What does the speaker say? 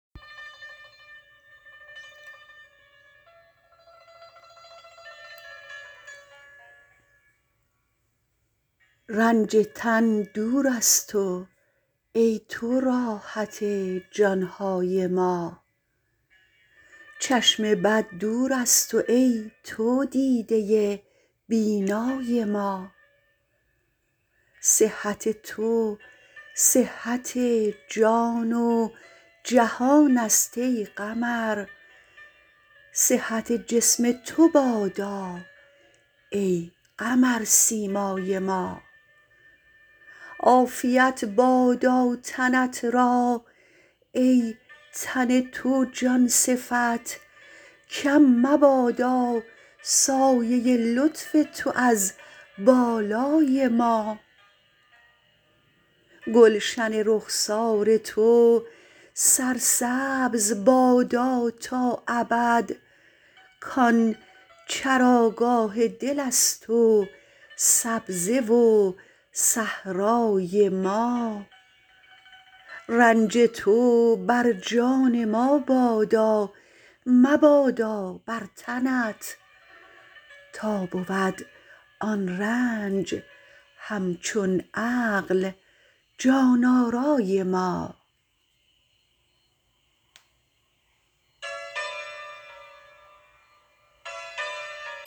رنج تن دور از تو ای تو راحت جان های ما چشم بد دور از تو ای تو دیده بینای ما صحت تو صحت جان و جهانست ای قمر صحت جسم تو بادا ای قمرسیمای ما عافیت بادا تنت را ای تن تو جان صفت کم مبادا سایه لطف تو از بالای ما گلشن رخسار تو سرسبز بادا تا ابد کان چراگاه دلست و سبزه و صحرای ما رنج تو بر جان ما بادا مبادا بر تنت تا بود آن رنج همچون عقل جان آرای ما